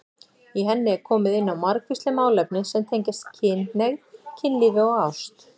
Í henni er komið inn á margvísleg málefni sem tengjast kynhneigð, kynlífi og ást.